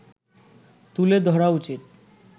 তুলে ধরা উচিত